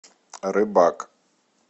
рыбак